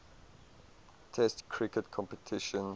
test cricket competitions